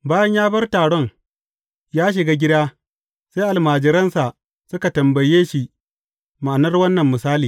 Bayan ya bar taron, ya shiga gida, sai almajiransa suka tambaye shi ma’anar wannan misali.